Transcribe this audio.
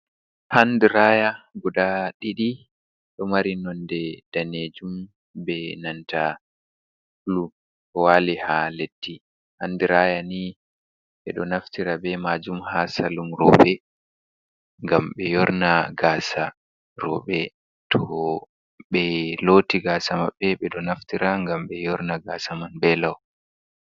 Handiraya guda ɗiɗi ɗo mari nonde danejum be nanta bulu ɗo wali ha leddi handiraya ni ɓeɗo naftira be majum ha salun roɓe ngam be yorna gasa roɓe to be loti gasa mabɓe ɓeɗo naftira ngam be yorna gasa man be lau.